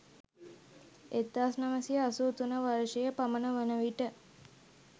1983 වර්ෂය පමණ වන විට